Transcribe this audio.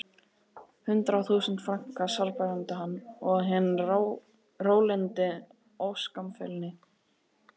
Hundrað þúsund franka sárbændi hann, og hinn rólyndi óskammfeilni